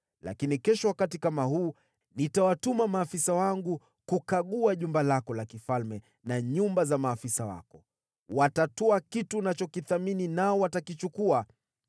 Lakini kesho wakati kama huu, nitawatuma maafisa wangu kukagua jumba lako la kifalme na nyumba za maafisa wako. Watatwaa kitu unachokithamini nao watakichukua.’ ”